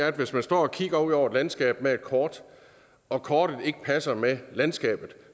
at hvis man står og kigger ud over et landskab med et kort og kortet ikke passer med landskabet